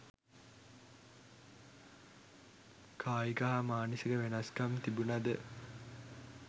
කායික හා මානසික වෙනස්කම් තිබුණද